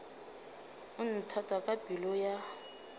o nthata ka pelo ya